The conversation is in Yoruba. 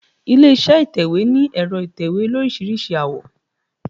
Ilé iṣẹ́ ìtẹ̀wẹ́ ní ẹ̀rọ ìtẹ̀wé olóríṣiríṣi àwọ̀.